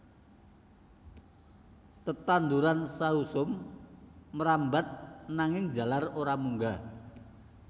Tetanduran sausum mrambat nanging njalar ora munggah